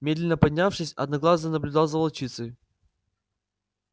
медленно поднявшись одноглазый наблюдал за волчицей